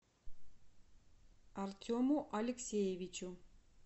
артему алексеевичу